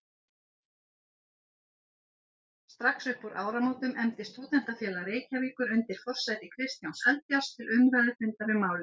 Strax uppúr áramótum efndi Stúdentafélag Reykjavíkur undir forsæti Kristjáns Eldjárns til umræðufundar um málið.